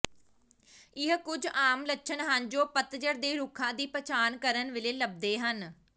ਇਹ ਕੁੱਝ ਆਮ ਲੱਛਣ ਹਨ ਜੋ ਪਤਝੜ ਦੇ ਰੁੱਖਾਂ ਦੀ ਪਛਾਣ ਕਰਨ ਵੇਲੇ ਲੱਭਦੇ ਹਨ